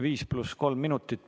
Viis pluss kolm minutit.